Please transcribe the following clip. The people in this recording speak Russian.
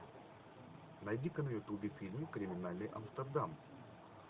найди ка на ютубе фильм криминальный амстердам